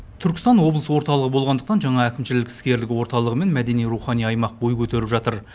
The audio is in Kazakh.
түркістан облыс орталығы болғандықтан жаңа әкімшілік іскерлік орталығы мен мәдени рухани аймақ бой көтеріп жатыр